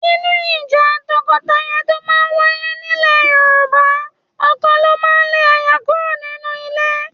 Nínú ìjà tọkọtaya tó máa ń wáyé nílẹ̀ Yorùbá, ọkọ ló máa ń lé aya kúrò nínú ilé